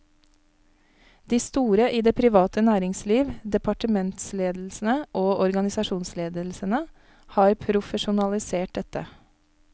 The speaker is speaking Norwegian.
De store i det private næringsliv, departementsledelsene og organisasjonsledelsene har profesjonalisert dette.